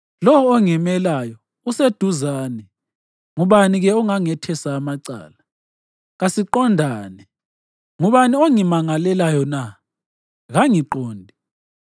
Lowo ongimelayo useduzane. Ngubani-ke ongangethesa amacala? Kasiqondane. Ngubani ongimangalelayo na? Kangiqonde!